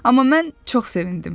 Amma mən çox sevindim.